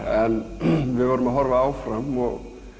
en við verðum líka að horfa áfram og